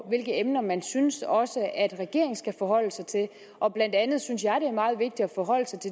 hvilke emner man synes også regeringen skal forholde sig til og blandt andet synes jeg